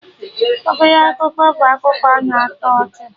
Ọbele ọkụkọ' bụ akụkọ ụmụaka na-atọ ọchị